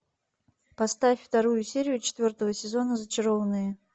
поставь вторую серию четвертого сезона зачарованные